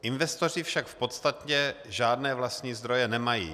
Investoři však v podstatě žádné vlastní zdroje nemají.